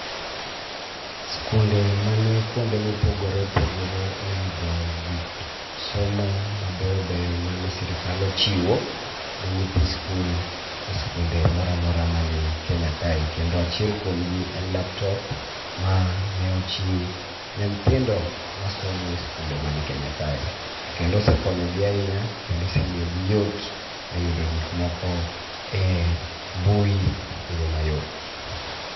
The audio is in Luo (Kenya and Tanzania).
Skunde mani kuonde mopogoreopogore oyudo gik somo mabeyobeyo mane sirikal ochiwo ne nyithi skul e skunde moramora mani Kenya kae. Kendo achiel kuomgi en laptop, mane ochiw ne nyithindo masomo e skunde mani Kenya kae. To kendo osekonyogi ahinya kendo osemiyogi yot e yudo gik moko e mbui e yo mayot.